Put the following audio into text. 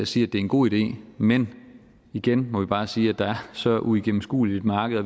sige at det er en god idé men igen må vi bare sige at der er et så uigennemskueligt marked og